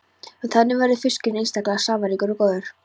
Þannig verður fiskurinn einstaklega safaríkur og góður.